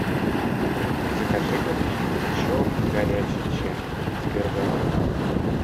закажи ка мне черный горячий чай с бергамотом